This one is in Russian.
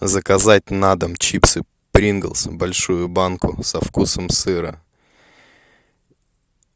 заказать на дом чипсы принглс большую банку со вкусом сыра